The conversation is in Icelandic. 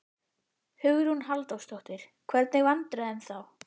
Hugrún Halldórsdóttir: Hvernig vandræðum þá?